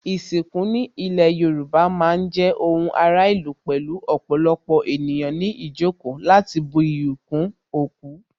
Ìsìnkú ní ilé Yorùbá má ń jẹ́ ohun ara ìlú pẹ̀lú ọ̀pọ̀lọpọ̀ ènìyàn ní ìjókòó láti bu iyì kún òkú